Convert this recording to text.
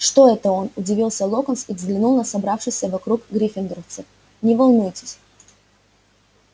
что это он удивился локонс и глянул на собравшихся вокруг гриффиндорцев не волнуйтесь